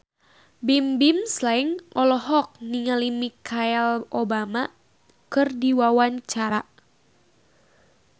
Bimbim Slank olohok ningali Michelle Obama keur diwawancara